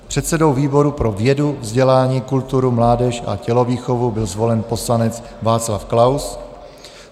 Předsedou výboru pro vědu, vzdělání, kulturu, mládež a tělovýchovu byl zvolen poslanec Václav Klaus.